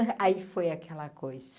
Aí foi aquela coisa.